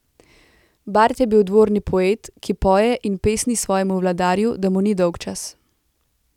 Bard je bil dvorni poet, ki poje in pesni svojemu vladarju, da mu ni dolgčas.